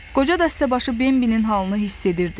Qoca dəstəbaşı Bembilin halını hiss edirdi.